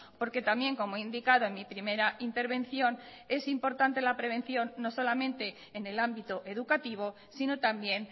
porque también como he indicado en mi primera intervención es importante la prevención no solamente en el ámbito educativo sino también